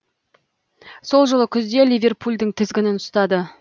сол жылы күзде ливерпульдің тізгінін ұстады